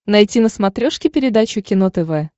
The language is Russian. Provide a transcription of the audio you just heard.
найти на смотрешке передачу кино тв